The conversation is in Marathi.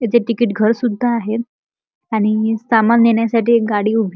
इथे तिकीट घर सुद्धा आहे आणि सामान नेण्यासाठी एक गाडी उभी--